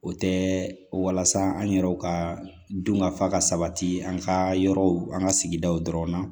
O tɛ walasa an yɛrɛw ka dun ka fa ka sabati an ka yɔrɔw an ka sigidaw dɔrɔn na